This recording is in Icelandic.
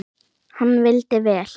Hann vildi vel.